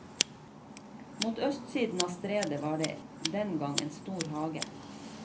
Mot østsiden av stredet var det den gang en stor hage.